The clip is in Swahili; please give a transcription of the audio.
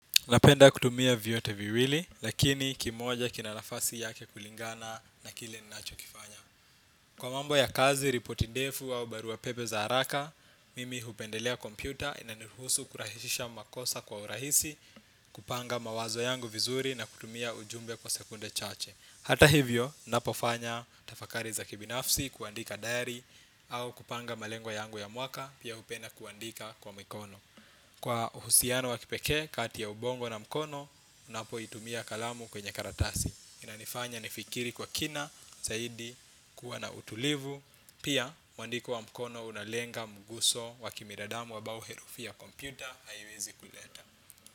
Napenda kutumia vyote viwili, lakini kimoja kina nafasi yake kulingana na kile ni nacho kifanya. Kwa mambo ya kazi, ripoti defu au barua pepe za haraka, mimi hupendelea kompyuta inaniruhusu kurahisisha makosa kwa urahisi, kupanga mawazo yangu vizuri na kutumia ujumbe kwa sekunde chache. Hata hivyo, ninapofanya tafakari za kibinafsi, kuandika diary, au kupanga malengo yangu ya mwaka, pia hupenda kuandika kwa mikono. Kwa uhusiano wa kipekee kati ya ubongo na mkono ninapoitumia kalamu kwenye karatasi inanifanya nifikiri kwa kina, zaidi, kuwa na utulivu. Pia, mwandiko wa mkono unalenga mguso wakibinadamu ambao herufi ya kompyuta haiwezi kuleta.